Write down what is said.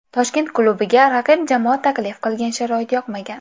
Toshkent klubiga raqib jamoa taklif qilgan sharoit yoqmagan.